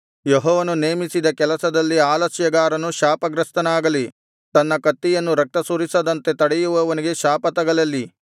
ಯೆಹೋವನು ನೇಮಿಸಿದ ಕೆಲಸದಲ್ಲಿ ಆಲಸ್ಯಗಾರನು ಶಾಪಗ್ರಸ್ತನಾಗಲಿ ತನ್ನ ಕತ್ತಿಯನ್ನು ರಕ್ತಸುರಿಸದಂತೆ ತಡೆಯುವವನಿಗೆ ಶಾಪ ತಗಲಲಿ